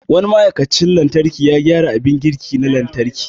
Wani ma'aikacin lantarki ya gyara abin girki na lantarki.